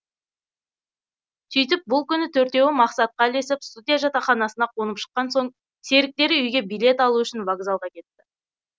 сөйтіп бұл күні төртеуі мақсатқа ілесіп студия жатақханасына қонып шыққан соң серіктері үйге билет алу үшін вокзалға кетті